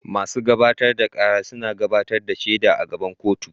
Masu gabatar da kara suna gabatar da shaida a gaban kotu.